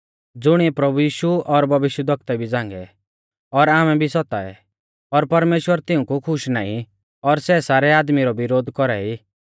ज़ुणिऐ प्रभु यीशु और भविष्यवक्ता भी झ़ांगै और आमै भी सताऐ और परमेश्‍वर तिऊंकु खुश नाईं और सै सारै आदमी रौ विरोध कौरा ई